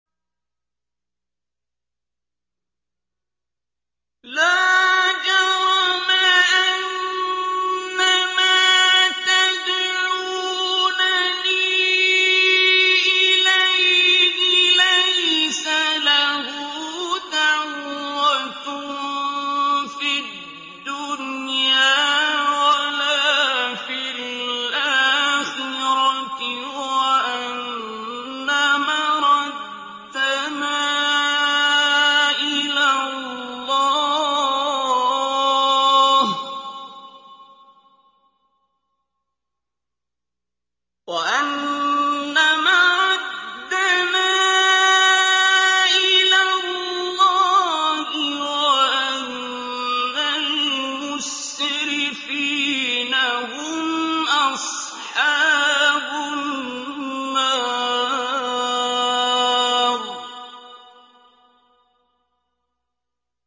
لَا جَرَمَ أَنَّمَا تَدْعُونَنِي إِلَيْهِ لَيْسَ لَهُ دَعْوَةٌ فِي الدُّنْيَا وَلَا فِي الْآخِرَةِ وَأَنَّ مَرَدَّنَا إِلَى اللَّهِ وَأَنَّ الْمُسْرِفِينَ هُمْ أَصْحَابُ النَّارِ